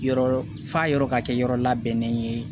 Yɔrɔ f'a yɔrɔ ka kɛ yɔrɔ labɛnnen ye